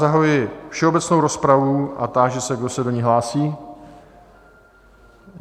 Zahajuji všeobecnou rozpravu a táži se, kdo se do ní hlásí?